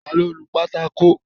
Ta ló nu pátákó?